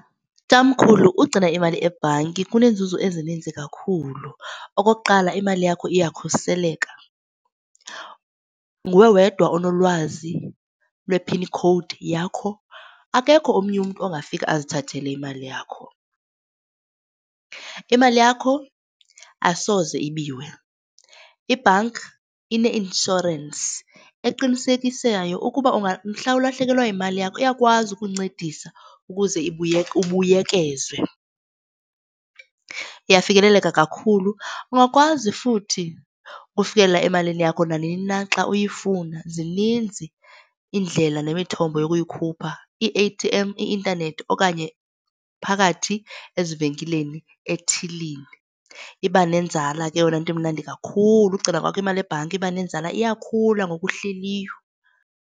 Tamkhulu, ukugcina imali ebhanki kuneenzuzo ezininzi kakhulu. Okokuqala, imali yakho iyakhuseleka. Nguwe wedwa onolwazi lwephini khowudi yakho, akekho omnye umntu ongafika azithathele imali yakho. Imali yakho asoze ibiwe. Ibhanki ine-inshorensi eqinisekisayo ukuba mhla ulahlekelwa yimali yakho iyakwazi ukuncedisa ukuze ubuyekezwe. Iyafikeleleka kakhulu. Ungakwazi futhi ufikelela emalini yakho nanini na xa uyifuna zininzi iindlela nemithombo yokuyikhupha, ii-A_T_M, ii-intanethi, okanye phakathi ezivenkileni ethilini. Iba nenzala ke eyona nto imnandi kakhulu ukugcina kwakho imali ebhanki iba nenzala iyakhula ngoku uhleliyo.